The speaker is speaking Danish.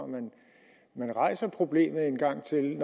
man rejser problemet en gang til